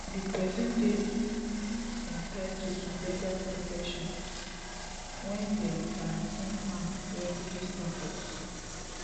di pesin dey entitled to legal protection wen dem grant am refugee status